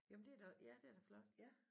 Jamen det er da ja det er da flot